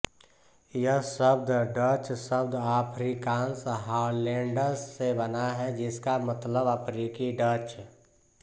यह शब्द डच शब्द आफ़्रीकांस हालैंडस से बना है जिसका मतलब है अफ़्रीकी डच